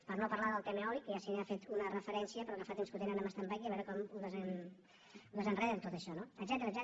per no parlar del tema eòlic que ja s’hi ha fet una referència però que fa temps que o tenen en standby i a veure com ho desenreden tot això etcètera etcètera